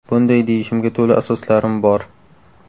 Bunday deyishimga to‘la asoslarim bor.